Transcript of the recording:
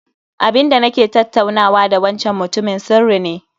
Abinda nake tattaunawa da wancan mutumin sirri ne